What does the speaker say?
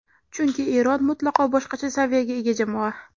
Chunki Eron mutlaqo boshqacha saviyaga ega jamoa.